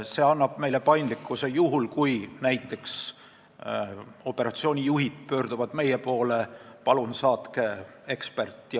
See annab meile paindlikkuse juhuks, kui näiteks operatsiooni juhid pöörduvad meie poole ja paluvad saata eksperdi.